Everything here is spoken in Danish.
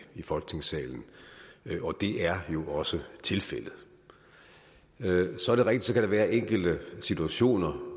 folketingssalen og det er jo også tilfældet så er det rigtigt at være enkelte situationer